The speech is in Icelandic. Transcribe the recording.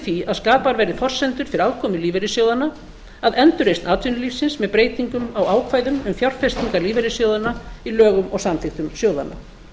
því að skapaðar verði forsendur til aðkomu lífeyrissjóðanna að endurreisn atvinnulífsins með breytingum á ákvæðum um fjárfestingar lífeyrissjóðanna í lögum og samþykktum sjóðanna